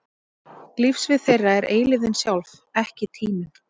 Lífssvið þeirra er eilífðin sjálf, ekki tíminn.